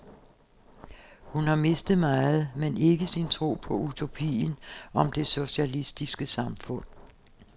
Hun har mistet meget, men ikke sin tro på utopien om det socialistiske samfund.